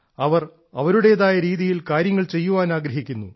അവർ അവരുടേതായ രീതിയിൽ കാര്യങ്ങൾ ചെയ്യാൻ ആഗ്രഹിക്കുന്നു